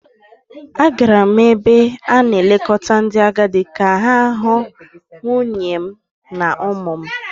Agara m n’ebe a na-elekọta ndị agadi ka m hụ nwunye m na ụmụ m